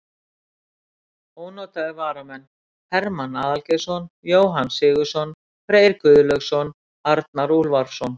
Ónotaðir varamenn: Hermann aðalgeirsson, Jóhann Sigurðsson, Freyr Guðlaugsson, Arnar Úlfarsson.